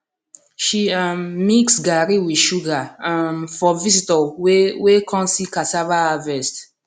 she um mix garri with sugar um for visitor wey wey come see cassava harvest